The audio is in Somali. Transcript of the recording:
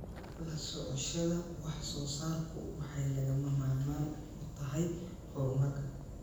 La socoshada wax soo saarku waxay lagama maarmaan u tahay horumarka.